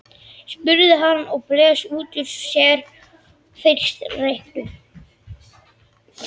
spurði hann og blés út úr sér fyrsta reyknum.